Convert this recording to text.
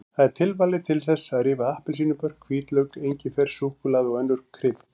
Það er tilvalið til þess að rífa appelsínubörk, hvítlauk, engifer, súkkulaði og önnur krydd.